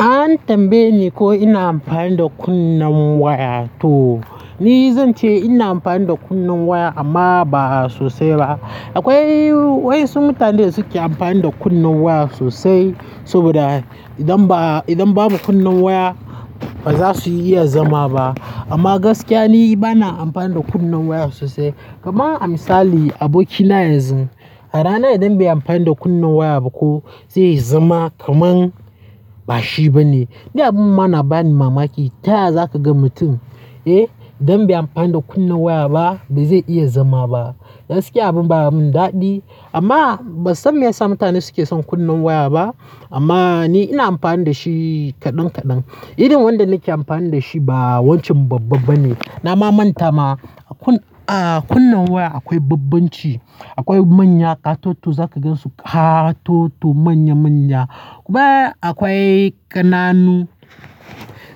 An tambayeni ko ina amfani da kunnen waya to ni zan ce ina amfani da kunnen waya amma ba sosai ba. Akoi waƴansu mutane da suke amfani da kunnen waya sosai saboda idan ba idan babu kunnen waya ba za su iya zama ba. Amma gaskiya ni bana amfani da kunnen waya sosai. Kaman a misali abokina yanzu a rana idan baiyi amfani da kunnen waya ba ko zai zama kaman bashi bane. Ni abun ma nabani mamaki. Ta yaya za ka ga mutum eh don bai amfani da kunne waya ba bai zai iya zama ba? Gaskiya abun baya mun daɗi amma ba san me yasa mutane suke son kunnen waya ba. Amma ni ina amfani da shi kaɗan kaɗan. Irin wanda nake amfani da shi ba wancan babba ba ne. Na ma manta ma a kun a kunnen waya akoi bambanci. Akoi manya, ƙatoto za ka gansu ƙatoto manya manya. Ba akwai ƙananu.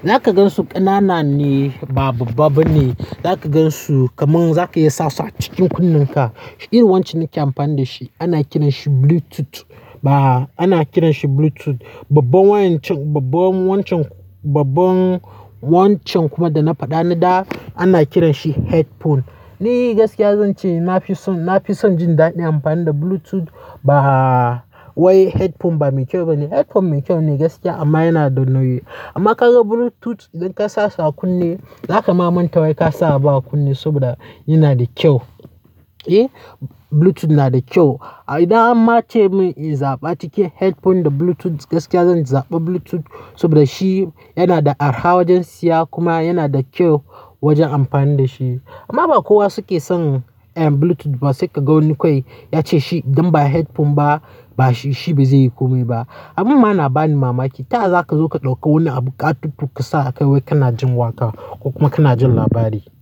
Zaka gan su ƙanana ne ba babba ba ne. Zaka gan su kamar zaka iya sa su a cikin kunnenka. Irin wancan nike amfani da shi. Ana kiran shi Bluetooth ba ana kiran shi Bluetooth. Babban wancan babban wancan babban wancan kuma da na faɗa na da ana kiran shi headphone. Ni gaskiya zan ce na fi son na fi son jin daɗin amfani da Bluetooth ba wai headphone ba mai kyau ba ne. Headphone mai kyau ne gaskiya amma yana. Amma ka ga Bluetooth idan ka sa kunne za ka ma manta wai ka sa ba kunne saboda yana da kyau. Eh Bluetooth nada da kyau. Idan an ma ce mun in zaɓa cikin headphone da Bluetooth gaskiya zan zaɓa Bluetooth saboda shi yana da arha wojen siya kuma yana da kyau wojen amfani da shi. Amma ba kowa suke son Bluetooth ba sai ka ga woni kawai ya ce ci idan ba headphone ba ba ci ci bai zai yi komai ba. Abin mana bani mamaki. Ta yaya za ka zo ka ɗauka woni abu ƙatoto ka sa akai wai ka jin waƙa ko kuma kana jin labari?